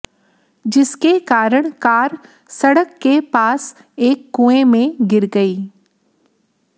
जिसके कारण कार सड़क के पास एक कुएं में गिर गई